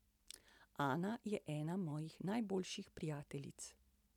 Ana je ena mojih najboljših prijateljic.